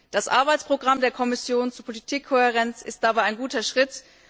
Das Arbeitsprogramm der Kommission zur Politikkohärenz ist dabei ein guter Schritt.